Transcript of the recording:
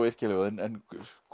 yrkja ljóðin en